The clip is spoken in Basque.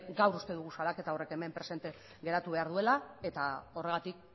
gaur uste dugu salaketa horrek hemen presente geratu behar duela eta horregatik